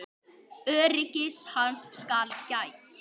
Öryggis hans skal gætt.